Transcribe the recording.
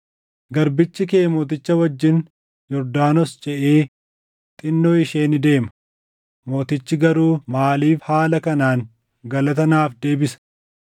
Garbichi kee mooticha wajjin Yordaanos ceʼee xinnoo ishee ni deema; mootichi garuu maaliif haala kanaan galata naaf deebisa?